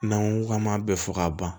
N'an ko k'an m'a bɛɛ fɔ ka ban